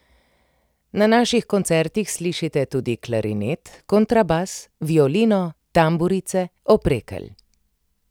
Na naših koncertih slišite tudi klarinet, kontrabas, violino, tamburice, oprekelj ...